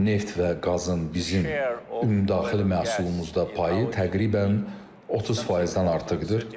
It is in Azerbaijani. Neft və qazın bizim ümumdaxili məhsulumuzda payı təqribən 30%-dən artıqdır.